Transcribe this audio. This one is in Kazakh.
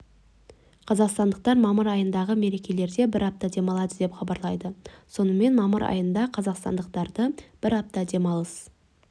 қазақстандықтар мамыр айындағы мерекелерде бір апта демалады деп хабарлайды сонымен мамыр айында қазақстандықтарды бір апта демалыс